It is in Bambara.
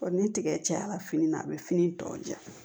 ni tigɛ cayara fini na a bi fini tɔ ja